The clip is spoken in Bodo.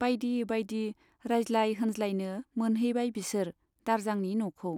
बाइदि बाइदि रायज्लाय होनज्लायनो मोनहैबाय बिसोर दारजांनि न'खौ।